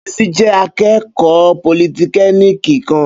Bísí jẹ́ akẹ́kọ̀ọ́ politẹ́kiniki kan